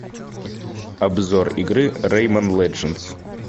обзор игры рейман ледженс